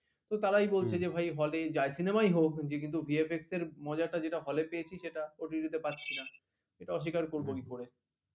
কিন্তু তারাই বলছি যে ভাই hall এ যাই cinema ই হোক কিন্তু VFX এর মজা যেটা hall এ পেয়েছি সেটা OTT তে পারছি না সেটা অস্বীকার করব কি করে